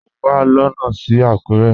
Mọ wà lóno sí Akure.